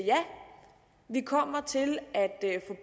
vi kommer til at